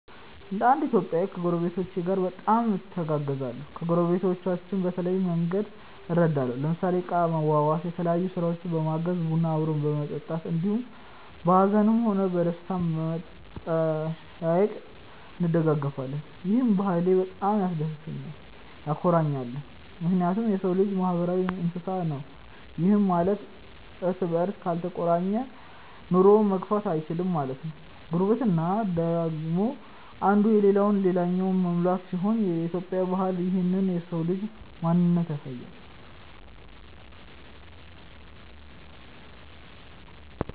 እንደ እንድ ኢትዮጵያዊ ከጐረቤቶቼ ጋር በጣም እተጋገዛለሁ። ከጐረቤቶቻችን በተለያየ መንግድ እረዳለሁ ለምሳሌ እቃ ማዋዋስ፣ የተለያዮ ስራውችን በማገዝ፣ ቡና አብሮ በመጠጣት እንዲሁም በሀዝንም ሆነ በደስታም በመጠያዬቅ እንደጋገፋለን። ይህ ባህሌ በጣም ያስደስተኛልም ያኮራኛልም ምክንያቱም የሰው ልጅ ማህበራዊ እንስሳ ነው ይህም ማለት እርስ በርስ ካልተቆራኘ ኑሮውን መግፋት እይችልም ማለት ነው። ጉርብትና ደግሞ እንዱ የለለውን ልላኛው መሙላት ሲሆን የኢትዮጵያ ባህል ይህንን የሰው ልጅ ማንነት ያሳያል።